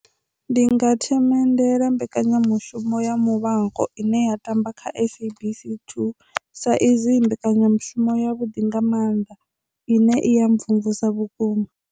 Ndi nga themendela mbekanyamushumo ya Muvhango ine ya tamba kha SABC 2 sa izwi i mbekanyamushumo ya vhuḓi nga mannḓa ine i ya mvumvusa vhukuma.